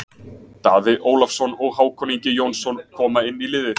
Daði Ólafsson og Hákon Ingi Jónsson koma inn í liðið.